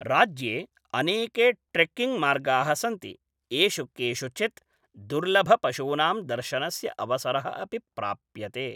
राज्ये अनेके ट्रेक्किङ्ग् मार्गाः सन्ति, येषु केषुचित् दुर्लभपशूनां दर्शनस्य अवसरः अपि प्राप्यते।